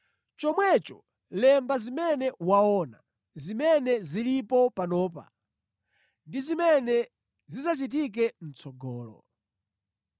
“Chomwecho, lemba zimene waona, zimene zilipo panopa ndi zimene zidzachitike mʼtsogolo.